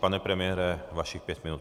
Pane premiére, vašich pět minut.